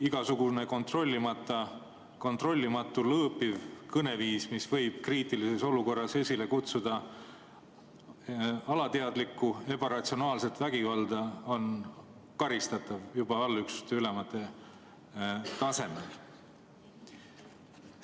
Igasugune kontrollimatu lõõpiv kõneviis, mis võib kriitilises olukorras esile kutsuda alateadlikku, ebaratsionaalset vägivalda, on karistatav juba allüksuste ülemate tasemel.